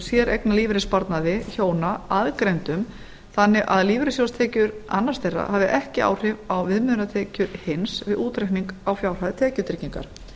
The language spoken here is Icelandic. séreignarlífeyrissparnaði hjóna aðgreindum þannig að lífeyrissjóðstekjur annars þeirra hafi ekki áhrif á viðmiðunartekjur hins vi útreikning á fjárhæð tekjutryggingar